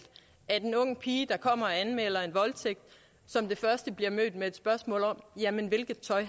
at en ung pige der kommer og anmelder en voldtægt som det første bliver mødt med et spørgsmål om hvilket tøj